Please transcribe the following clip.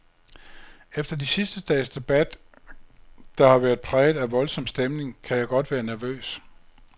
Efter de sidste dages debat, der har været præget af voldsom stemning, kan jeg godt være nervøs.